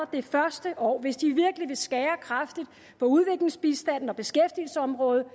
det første år hvis de virkelig vil skære kraftigt på udviklingsbistanden og beskæftigelsesområdet